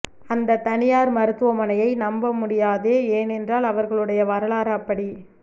அந்த தனியார் மருத்துவமனையை நம்ப முடியாதே ஏன் என்றால் அவ்ரகளுடைய வரலாறு அப்படி